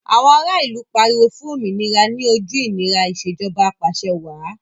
Àwọn ara ìlú pariwo fún òmìnira ní ojú ìnira Ìṣèjọba Ap'àṣẹwàá